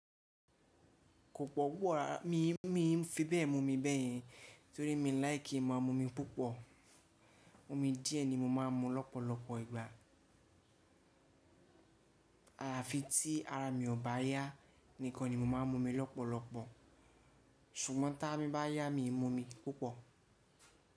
Kò pọ̀ púpọ̀ rárá, mi fi bẹ́ẹ̀ mu omi bẹ́yẹn torí mi láì kí ma mu omi púpọ̀. Omi díẹ̀ ni mo máa ń mu lọ́pọ̀lọpọ̀ ìgbà. Àlàáfíà tí ara mi ò bá yá nìkan ni mo máa ń mu omi lọ́pọ̀lọpọ̀, ṣùgbọ́n tí arami bá yá mi mu omi púpọ̀